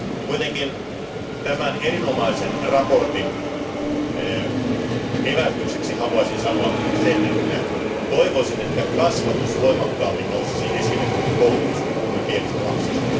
Kuitenkin tämän erinomaisen mietinnön evästykseksi haluaisin sanoa sen, että toivoisin, että kasvatus voimakkaammin nousisi esille, kuin koulutus, kun puhumme pienistä lapsista.